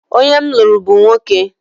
Onye m lụrụ bụ nwoke.